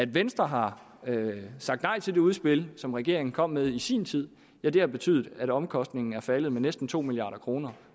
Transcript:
venstre har sagt nej til det udspil som regeringen kom med i sin tid og det har betydet at omkostningen er faldet med næsten to milliard kr